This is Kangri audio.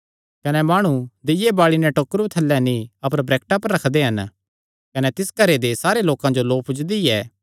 कने माणु दीय्ये बाल़ी नैं डल्ला थल्लैं नीं अपर वरैक्टा पर रखदे हन कने तिस नैं घरे दे सारे लोकां जो लौ पुज्जदी ऐ